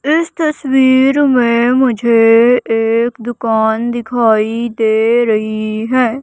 इस तस्वीर में मुझे एक दुकान दिखाई दे रही है।